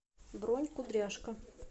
бронь кудряшка